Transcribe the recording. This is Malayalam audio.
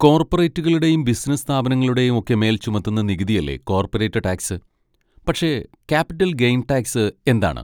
കോർപറേറ്റുകളുടേയും ബിസിനസ്സ് സ്ഥാപനങ്ങളുടെയും ഒക്കെ മേൽ ചുമത്തുന്ന നികുതിയല്ലേ കോർപ്പറേറ്റ് ടാക്സ്, പക്ഷെ ക്യാപിറ്റൽ ഗെയ്ൻ ടാക്സ് എന്താണ്?